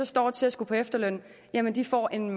to og tres år eller man kan få en